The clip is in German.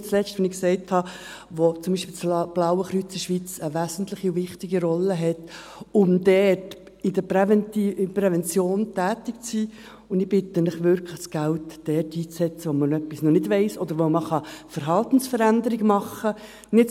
Nicht zuletzt – wie ich gesagt habe –, weil zum Beispiel das Blaue Kreuz in der Schweiz eine wesentliche und wichtige Rolle innehat, um dort in der Prävention tätig zu sein, und ich bitte Sie wirklich, das Geld dort einzusetzen, wo man etwas noch nicht weiss oder wo man Verhaltensveränderungen machen kann.